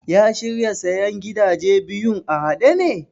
Ya shirya sayen gidaje biyun a haɗe ne?